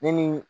Ne ni